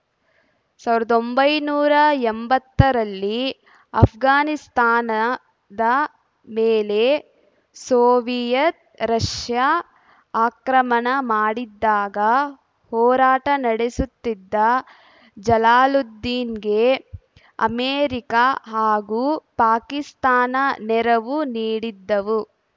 ಸಾವಿರದ ಒಂಬೈನೂರ ಎಂಬತ್ತರಲ್ಲಿ ಆಷ್ಘಾನಿಸ್ತಾನದ ಮೇಲೆ ಸೋವಿಯತ್‌ ರಷ್ಯಾ ಆಕ್ರಮಣ ಮಾಡಿದ್ದಾಗ ಹೋರಾಟ ನಡೆಸುತ್ತಿದ್ದ ಜಲಾಲುದ್ದೀನ್‌ಗೆ ಅಮೆರಿಕ ಹಾಗೂ ಪಾಕಿಸ್ತಾನ ನೆರವು ನೀಡಿದ್ದವು